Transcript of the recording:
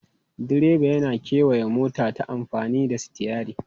Direba yana kewaya mota ta amfani da sitiyari.